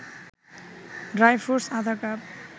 dry fruits আধা cup